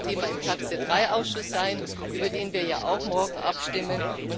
Das wird auch Thema im TAXE 3 Ausschuss sein, über das wir ja auch morgen abstimmen.